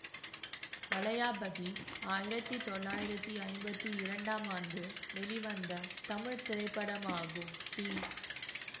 வளையாபதி ஆயிரத்தி தொள்ளாயிரத்தி ஐம்பத்தி இரண்டாம் ஆண்டு வெளிவந்த தமிழ் திரைப்படமாகும் டி